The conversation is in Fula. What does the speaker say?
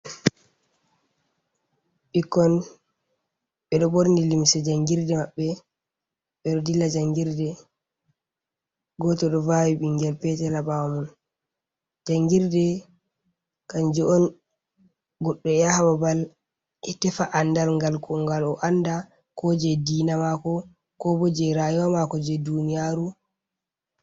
Ɓikkon, ɓeɗo ɓorni limse janngirde maɓɓe, ɓe ɗo dilla janngirde. Gooto ɗo vaawi ɓinngel peetel haa ɓaawa mum. Ganngirde kanujum on goɗɗo yaha babal e tefa anndal ko ngal o annda ko jey diina maako, koobo jey raayuwa maako jey duuniyaaru.